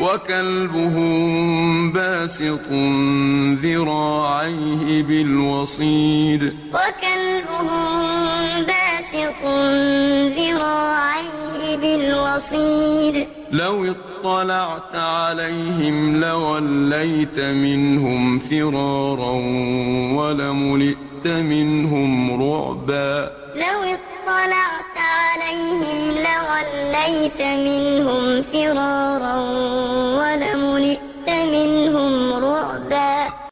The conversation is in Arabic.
وَكَلْبُهُم بَاسِطٌ ذِرَاعَيْهِ بِالْوَصِيدِ ۚ لَوِ اطَّلَعْتَ عَلَيْهِمْ لَوَلَّيْتَ مِنْهُمْ فِرَارًا وَلَمُلِئْتَ مِنْهُمْ رُعْبًا وَتَحْسَبُهُمْ أَيْقَاظًا وَهُمْ رُقُودٌ ۚ وَنُقَلِّبُهُمْ ذَاتَ الْيَمِينِ وَذَاتَ الشِّمَالِ ۖ وَكَلْبُهُم بَاسِطٌ ذِرَاعَيْهِ بِالْوَصِيدِ ۚ لَوِ اطَّلَعْتَ عَلَيْهِمْ لَوَلَّيْتَ مِنْهُمْ فِرَارًا وَلَمُلِئْتَ مِنْهُمْ رُعْبًا